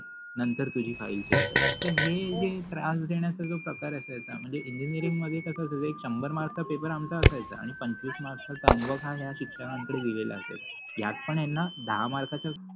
नंतर तुझि file check करेन. हे त्रास देन्याचा जो प्रकार असायचा म्हनजे इंजिनिअरिंग मधे कस होत एक शाम्भर मार्क्सचा पेपर असायचा आणी पंचविस मार्क्स च टर्म वर्क ह या शिक्षकंकडे दिल असायच यात पन याना दहा मार्काचि फाईल